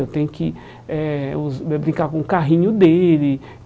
Eu tenho que eh brincar com o carrinho dele.